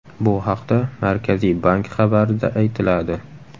Bu haqda Markaziy bank xabarida aytiladi .